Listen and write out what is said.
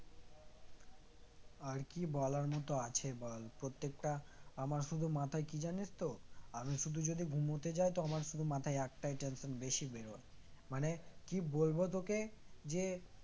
আর কি বলার মত আছে বল প্রত্যেকটা আমার শুধু মাথায় কি জানিস তো আমি শুধু যদি ঘুমোতে যাই তো আমার শুধু আমার মাথায় একটাই tension বেশি বের হয় মানে কি বলবো তোকে যে